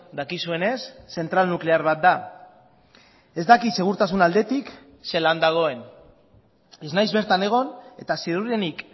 dakizuenez zentral nuklear bat da ez dakit segurtasun aldetik zelan dagoen ez naiz bertan egon eta ziurrenik